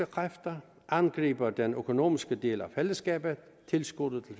kræfter angriber den økonomiske del af fællesskabet tilskuddet til